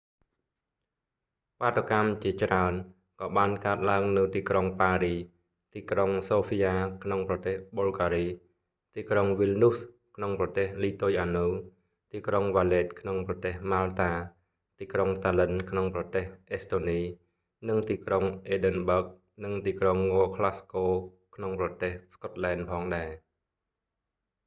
បាតុកម្មជាច្រើន ក៏បានកើតឡើងនៅទីក្រុងប៉ារីស ទីក្រុងសូហ្វីយ៉ាក្នុងប្រទេសប៊ុលហ្គារី ទីក្រុងវីលនូសក្នុងប្រទេសលីទុយអានៅ ទីក្រុងវ៉ាលេតក្នុងប្រទេសម៉ាល់តា ទីក្រុងតាល្លិន្នក្នុងប្រទេសអេស្តូនី និងទីក្រុងអេឌិនបើហ្គ និងទីក្រុងងក្លាស់ស្កូក្នុងប្រទេសស្កុតឡែនផងដែរ